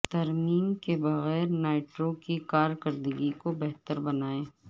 ترمیم کے بغیر نائٹرو کی کارکردگی کو بہتر بنائیں